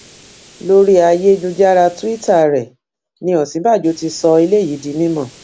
lórí ayélujára tuita rẹ ni òsínbàbò ti sọ eléyìí di mímọ